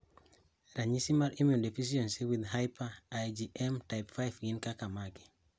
Ranyisi mag Immunodeficiency with hyper IgM type 5 gin kaka mage?